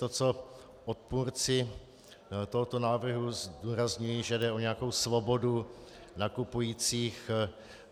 To, co odpůrci tohoto návrhu zdůrazňují, že jde o nějakou svobodu nakupujících.